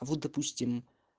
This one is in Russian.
вот допустим